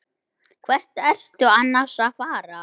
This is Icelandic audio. Hvert ertu annars að fara?